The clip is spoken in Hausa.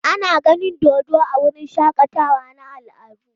Ana ganin dodo a wurin shakatawa na al'adu.